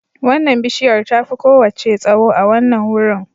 Wannan bishiyar tafi kowace tsawo a wannan wurin